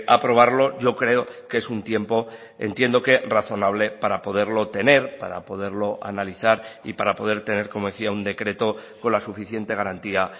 aprobarlo yo creo que es un tiempo entiendo que razonable para poderlo tener para poderlo analizar y para poder tener como decía un decreto con la suficiente garantía